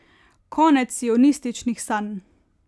Konec sionističnih sanj.